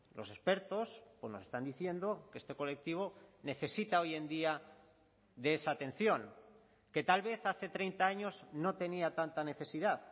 los expertos nos están diciendo que este colectivo necesita hoy en día de esa atención que tal vez hace treinta años no tenía tanta necesidad